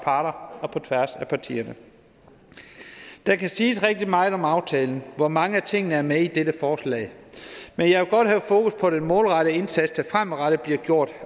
parter og på tværs af partierne det kan siges rigtig meget om aftalen hvor mange af tingene er med i dette forslag men jeg vil godt have fokus på den målrettede indsats der fremadrettet bliver gjort